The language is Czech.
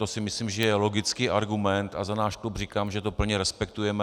To si myslím, že je logický argument a za náš klub říkám, že to plně respektujeme.